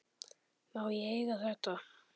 Má ég eiga þetta?